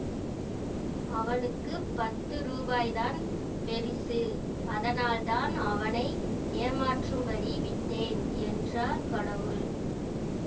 அவனுக்கு பத்து ரூபாய்தான் பெரிசு அதனால்தான் அவனை ஏமாற்றும்படி விட்டேன் என்றார் கடவுள்